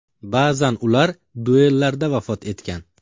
Ba’zan ular duellarda vafot etgan.